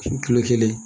Kilo kelen